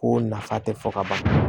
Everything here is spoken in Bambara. Ko nafa tɛ fɔ ka ban